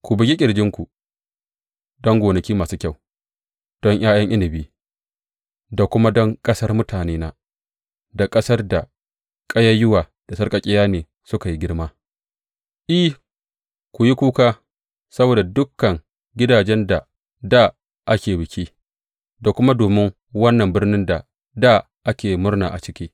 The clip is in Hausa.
Ku bugi ƙirjinku don gonaki masu kyau don ’ya’yan inabi da kuma don ƙasar mutanena, da ƙasar da ƙayayyuwa da sarƙaƙƙiya ne suka yi girma, I, ku yi kuka saboda dukan gidajen da dā ake biki da kuma domin wannan birnin da dā ake murna a ciki.